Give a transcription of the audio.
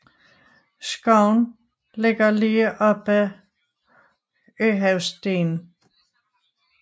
Skoven ligger lige op ad Øhavsstien